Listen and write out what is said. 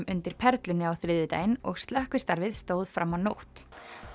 undir Perlunni á þriðjudaginn og slökkvistarfið stóð fram á nótt